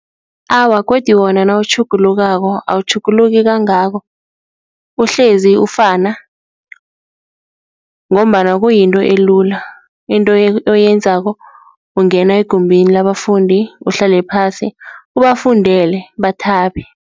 Awa, godi wona nawutjhugulukako awutjhuguluki kangako, uhlezi ufana ngombana kuyinto elula, into oyenzako ungena egumbini labafundi uhlale phasi, ubafundele bathabe.